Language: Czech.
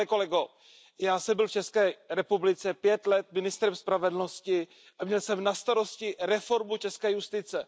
Pane kolego, já jsem byl v České republice 5 let ministrem spravedlnosti a měl jsem na starosti reformu české justice.